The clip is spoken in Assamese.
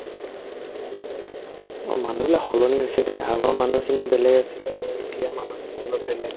অ, মানুহবিলাক সলনি হৈছে দে আগৰ মানুহখিনি বেলেগ আছিলে আৰু এতিয়া মানুহখিনি অলপ বেলেগ